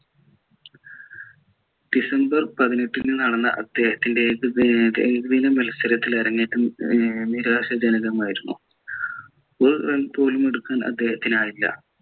December പതിനെട്ടിന് നടന്ന അദ്ദേഹത്തിൻ്റെ മത്സരത്തിലെ അരങ്ങേറ്റം ഏർ നിരാശാജനകം ആയിരുന്നു ഒരു run പോലും എടുക്കാൻ അദ്ദേഹത്തിനായില്ല